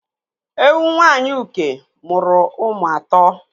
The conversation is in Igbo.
Ewu Nwaanyị Uke mụrụ ụmụ atọ.